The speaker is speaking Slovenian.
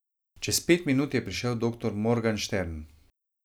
Čez pet minut je prišel doktor Morganstern.